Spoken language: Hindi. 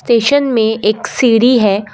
स्टेशन में एक सीढ़ी है।